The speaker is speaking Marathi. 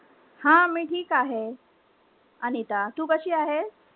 हा मी ठीक आहे. अनिता. तू कशी आहेस?